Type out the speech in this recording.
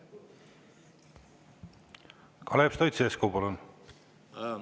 Kalev Stoicescu, palun!